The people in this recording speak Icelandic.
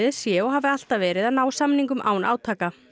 sé og hafi alltaf verið að ná samningum án átaka